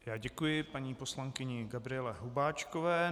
Já děkuji paní poslankyni Gabriele Hubáčkové.